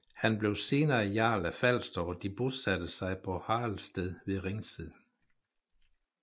Han blev senere jarl af Falster og de bosatte sig på Haraldssted ved Ringsted